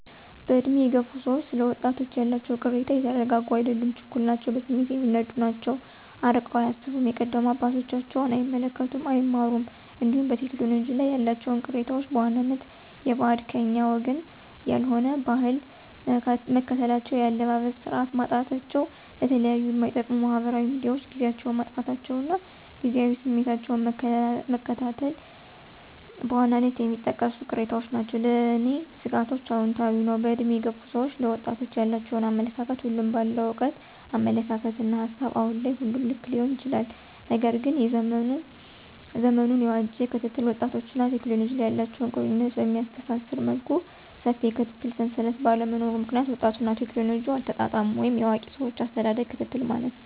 በዕድሜ የገፉ ሰዎች ስለ ወጣቶች ያላቸው ቅሬታ የተረጋጉ አይደሉም ችኩል ናቸው በስሜት የሚነዱ ናቸው አርቀው አያስቡም የቀደሙ አባቶቻቸውን አይመለከቱም አይማሩም እንዲሁም በቴክኖሎጂ ላይ ያላቸው ቅሬታዎች በዋናነት የበዓድ /ከኛ ወገን ያልሆነ/ ባህል መከተላቸው የአለባበስ ስርዓት ማጣታቸው ለተለያዩ ማይጠቅሙ ማህበራዊ ሚዲያዎችን ጊዚያቸውን ማጥፋታቸው እና ጊዚያዊ ስሜታቸውን መከተላቸው በዋናነት የሚጠቀሱ ቅሬታዎች ናቸው። ለኔ ስጋቶችአውንታዊ ነው በእድሜ የገፉ ሰዎች ለወጣቶች ያላቸው አመለካከት ሁሉም በአለው እውቀት አመለካከትና ሀሳብ አሁን ላይ ሁሉም ልክ ሊሆን ይችላል። ነገር ግን ዘመኑን የዋጄ ክትትል ወጣቶችንና ቴክኖሎጂ ላይ ያላቸው ቁርኝት በሚያስተሳስር መልኩ ሰፊ የክትትል ሰንሰለት ባለመኖሩ ምክንያት ወጣቱና ቴክኖሎጂ አልተጣጣሙም ወይም የአዋቂ ሰዎች አሳዳጊዎች ክትትል ማነስ